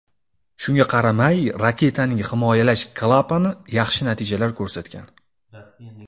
Shunga qaramay raketaning himoyalash klapani yaxshi natijalar ko‘rsatgan.